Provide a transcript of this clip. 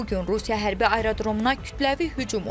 Bu gün Rusiya hərbi aerodromuna kütləvi hücum olub.